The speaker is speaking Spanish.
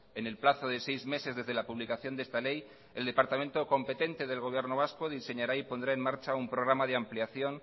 en el plazo de seis meses desde la publicación de esta ley el departamento competente del gobierno vasco diseñará y pondrá en marcha un programa de ampliación